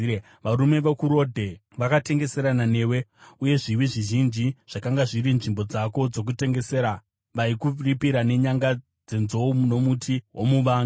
“ ‘Varume vokuRodhe vakatengeserana newe, uye zviwi zvizhinji zvakanga zviri nzvimbo dzako dzokutengesera; vaikuripira nenyanga dzenzou nomuti womuvanga.